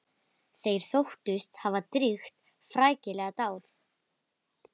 Þeir þóttust hafa drýgt frækilega dáð.